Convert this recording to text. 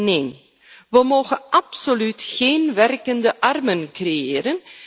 Nee, we mogen absoluut geen werkende armen creëren.